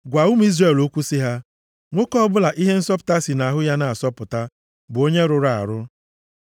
“Gwa ụmụ Izrel okwu sị ha, ‘Nwoke ọbụla ihe nsọpụta si nʼahụ ya na-asọpụta, bụ onye rụrụ arụ.